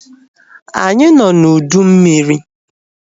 Anyị nọ na ụdị mmiri